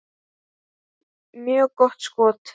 Mjög gott skot.